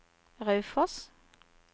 Raufoss